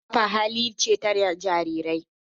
Harba kafa hali ce ta Jarirai.